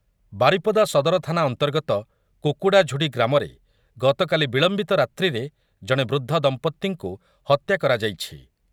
ବାରିପଦା ସଦର ଥାନା ଅନ୍ତର୍ଗତ କୁକୁଡ଼ାଝୁଡ଼ି ଗ୍ରାମରେ ଗତକାଲି ବିଳମ୍ବିତ ରାତ୍ରିରେ ଜଣେ ବୃଦ୍ଧ ଦମ୍ପତିଙ୍କୁ ହତ୍ୟା କରାଯାଇଛି ।